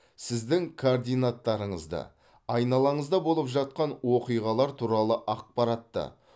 сіздің координаттарыңызды айналаңызда болып жатқан оқиғалар туралы ақпаратты